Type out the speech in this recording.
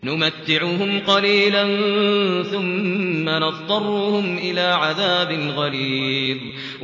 نُمَتِّعُهُمْ قَلِيلًا ثُمَّ نَضْطَرُّهُمْ إِلَىٰ عَذَابٍ غَلِيظٍ